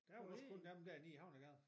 Der er jo også kun dem der nede i Havnegade